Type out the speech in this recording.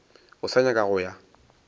o sa nyaka go ya